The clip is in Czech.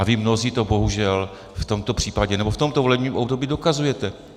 A vy mnozí to bohužel v tomto případě nebo v tomto volebním období dokazujete.